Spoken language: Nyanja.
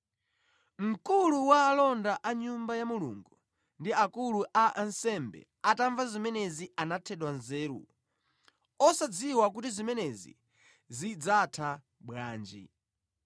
Mkulu wa alonda a Nyumba ya Mulungu ndi akulu a ansembe atamva zimenezi anathedwa nzeru, osadziwa kuti zimenezi zidzatha bwanji.